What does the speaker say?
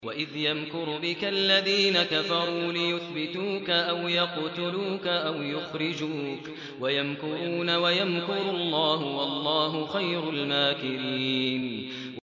وَإِذْ يَمْكُرُ بِكَ الَّذِينَ كَفَرُوا لِيُثْبِتُوكَ أَوْ يَقْتُلُوكَ أَوْ يُخْرِجُوكَ ۚ وَيَمْكُرُونَ وَيَمْكُرُ اللَّهُ ۖ وَاللَّهُ خَيْرُ الْمَاكِرِينَ